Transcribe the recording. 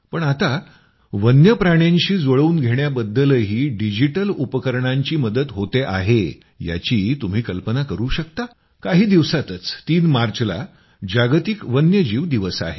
पण आता वन्य प्राण्यांशी जुळवून घेण्याबद्दलही डिजिटल उपकरणांची मदत होते आहे याची तुम्ही कल्पना करू शकता काही दिवसातच तीन मार्चला जागतिक वन्यजीव दिवस आहे